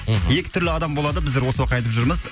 мхм екі түрлі адам болады біздер осы уақытқа айтып жүрміз